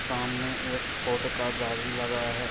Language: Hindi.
सामने एक फोर्ट का गाड़ी लगा है